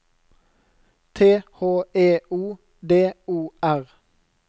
T H E O D O R